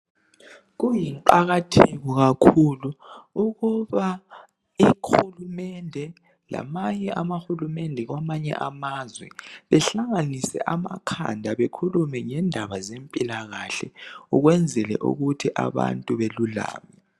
Kuyinqakatheko kakhulu ukuba ihulumende lamanye amahulumende kwamanye amazwe behlanganise amakhanda bekhulume ngendaba zempilakahle ukwenzela ukuthi abantu belulame.